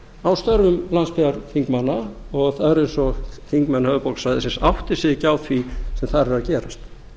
á störfum landsbyggðarþingmanna það er eins og þingmenn höfuðborgarsvæðisins átti sig ekki á því hvað þar er að gerast